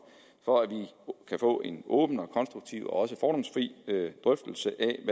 for at vi kan få en åben og konstruktiv og også fordomsfri drøftelse